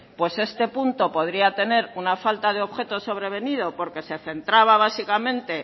este punto podría tener una falta de objetivo sobrevenido porque se centraba básicamente